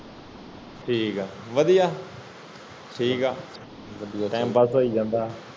ਠੀਕ ਹੈ ਵਾਦੀਆਂ ਠੀਕ ਹੈ